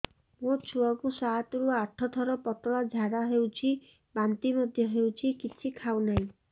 ମୋ ଛୁଆ କୁ ସାତ ରୁ ଆଠ ଥର ପତଳା ଝାଡା ହେଉଛି ବାନ୍ତି ମଧ୍ୟ୍ୟ ହେଉଛି କିଛି ଖାଉ ନାହିଁ